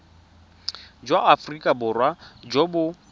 jwa aforika borwa jo bo